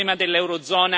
La deflazione.